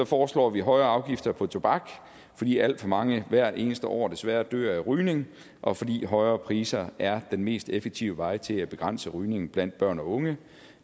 foreslår vi højere afgifter på tobak fordi alt for mange hvert eneste år desværre dør af rygning og fordi højere priser er den mest effektive vej til at begrænse rygning blandt børn og unge